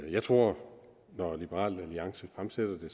jeg tror at når liberal alliance fremsætter det